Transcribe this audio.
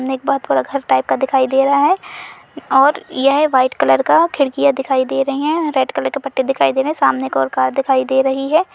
पूरा घर टाइप दिखयी दे रहा है और यह व्हाइट कलर का खिड़कियाँ दिखाई दे रही हैंरेड कलर की पट्टियाँ दिखाई दे रहीं हैं सामने की ओर कार दिखाई दे रही है।